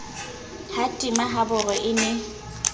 ha tima haboro e ne